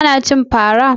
Ka na cin fara?